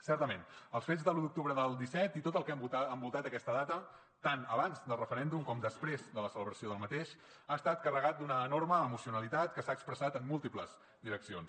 certament els fets de l’un d’octubre del disset i tot el que ha envoltat aquesta data tant abans del referèndum com després de la celebració ha estat carregat d’una enorme emocionalitat que s’ha expressat en múltiples direccions